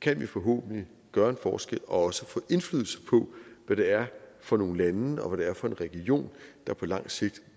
kan vi forhåbentlig gøre en forskel og også få indflydelse på hvad det er for nogle lande og hvad det er for en region der på lang sigt